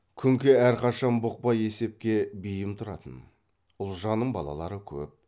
күнке әрқашан бұқпа есепке бейім тұратын ұлжанның балалары көп